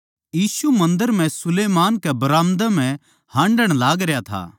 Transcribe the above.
यीशु मन्दर म्ह सुलैमान कै बराम्दा म्ह हान्डण लागरया था